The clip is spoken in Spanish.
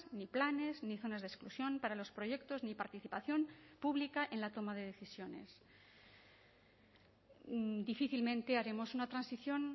ni planes ni zonas de exclusión para los proyectos ni participación pública en la toma de decisiones difícilmente haremos una transición